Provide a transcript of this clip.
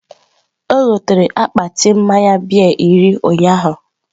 O gotere akpati mmaya bịya iri ụnyaahụ